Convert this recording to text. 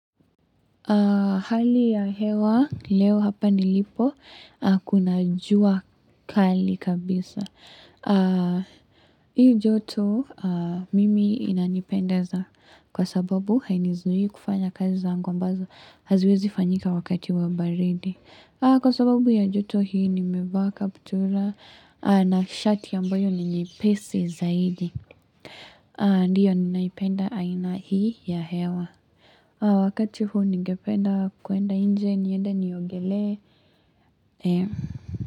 Hali ya hewa leo hapa nilipo kuna jua kali kabisa. Hii joto mimi inanipendeza kwa sababu hainizuii kufanya kazi zangu ambazo haziwezi fanyika wakati wa baridi. Kwa sababu ya joto hii nimevaa kaptura na shati ambayo ni nyepesi zaidi. Ndiyo ninaipenda aina hii ya hewa. Kwa wakati huu ningependa kuenda inje niende niogelee. Ee.